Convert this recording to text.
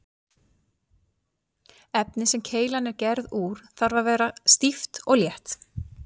Efnið sem keilan er gerð úr þarf að vera stíft og létt.